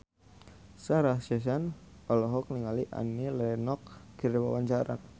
Sarah Sechan olohok ningali Annie Lenox keur diwawancara